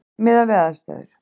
Miðað við aðstæður.